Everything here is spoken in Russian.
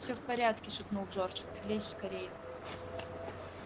всё в порядке шепнул джордж лезь скорее